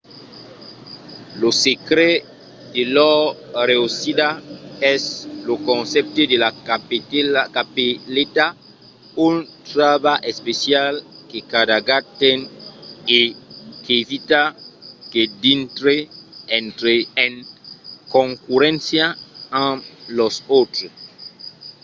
lo secret de lor reüssida es lo concèpte de la capeleta un trabalh especial que cada gat ten e qu'evita que dintre en concurréncia amb los autres